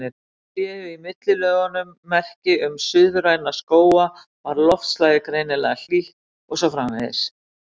Séu í millilögunum merki um suðræna skóga var loftslagið greinilega hlýtt, og svo framvegis.